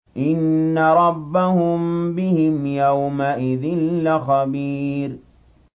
إِنَّ رَبَّهُم بِهِمْ يَوْمَئِذٍ لَّخَبِيرٌ